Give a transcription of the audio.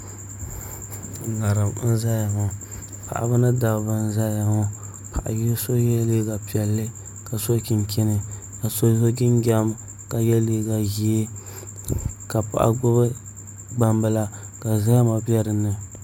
ŋarim n ʒɛya ŋɔ paɣaba ni dabba n ʒɛya ŋɔ paɣa so yɛla liiga piɛlli ka so chinchin ka so so jinjɛm ka yɛ liiga ʒiɛ ka paɣa gbubi gbambila ka zahama bɛ dinni